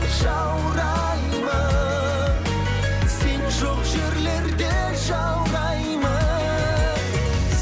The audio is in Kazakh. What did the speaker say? жаураймын сен жоқ жерлерде жаураймын